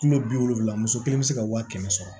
Kulo bi wolonwula muso kelen be se ka waa kɛmɛ sɔrɔ